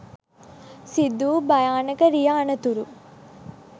සිදුවූ භයානක රිය අනතුරු